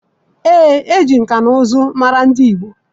Ee, e ji nka na nka mara ndị Igbo